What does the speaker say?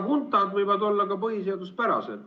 Huntad võivad olla ka põhiseaduspärased.